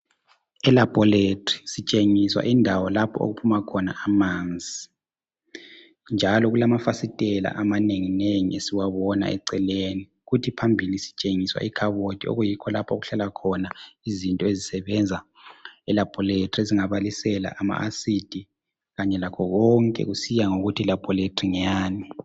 E laboratory sitshengiswa indawo lapho okuphuma khona amanzi, njalo kulamafasitela amanenginengi esiwabona eceleni, kuthi phambili sitshengiswa ikhabothi okuyikho lapho okuhlala khona izinto ezisebenza e laboratory ezingabalisela ama acid kanye lakho konke kusiya ngokuthi i laboratory ngeyani